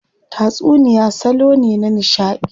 Tatsuniya salo ne na nishadi.